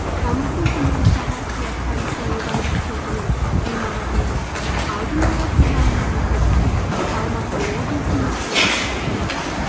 тамыздың күні сағат де қарасай аудандық сотының ғимаратында алдын ала тыңдалымы өтеді іс алматы облысының қылмыстық